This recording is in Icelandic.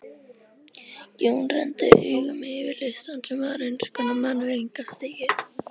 Jón renndi augum yfir listann sem var eins konar mannvirðingastigi.